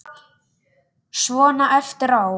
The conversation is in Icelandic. Svona eftir á.